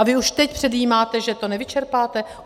A vy už teď předjímáte, že to nevyčerpáte?